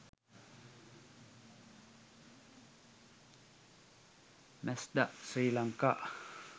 mazda sri lanka